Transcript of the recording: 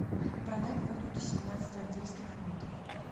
продать валюту семнадцать английских фунтов